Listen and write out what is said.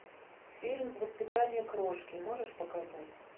фильм воспитание крошки можешь показать